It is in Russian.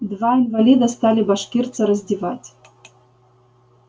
два инвалида стали башкирца раздевать